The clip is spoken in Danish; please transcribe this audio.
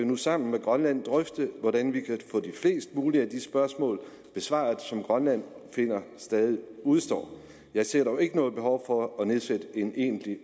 nu sammen med grønland drøfte hvordan vi kan få flest mulige af de spørgsmål besvaret som grønland finder stadig udestår jeg ser dog ikke noget behov for at nedsætte en egentlig